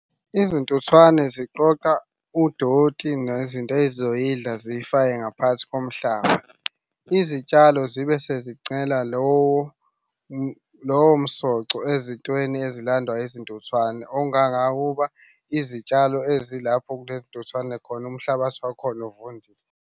Izintuthwane ziqoqa udoti nezinto ey'zoyidla ziyifake ngaphakathi komhlaba. Izitshalo zibe sezincela lowo lowo msoco ezintweni ezilandwa izintuthwane ongangokuba izitshalo ezilapho kulezi ntuthwane khona umhlabathi wakhona uvundile.